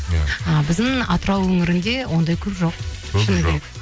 иә ы біздің атырау өңірінде ондай көп жоқ